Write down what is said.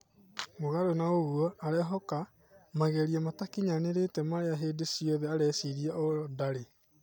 Mũgarũ na ũguo, arehoka "mageria matakinyanĩrĩte marĩa hĩndĩ ciothe areciria o ndari."